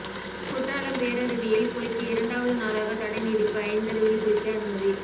குற்றாலம் பேரருவியில் குளிக்க இரண்டாவது நாளாக தடை நீடிப்பு ஐந்தருவியில் குளிக்க அனுமதி